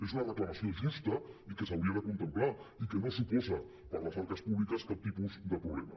és una reclamació justa i que s’hauria de contemplar i que no suposa per a les arques públiques cap tipus de problema